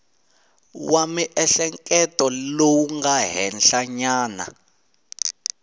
wa miehleketo lowu nga henhlanyana